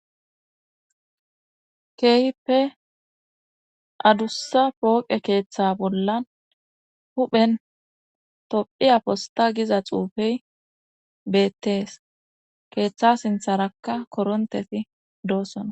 keehipe adussa pooqe keeththa bollan huphen tophiya posta giza xuufey beettees keeththa sintharakka korontefi doossona